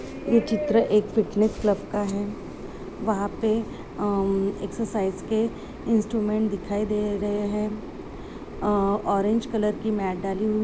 ये चित्र fitness club का है वहा पे अं एक्सेर्सईस के इन्स्ट्रूमेंट्स दिखाई दे रहे है। अं ऑरेंज कलर की मैट डाली--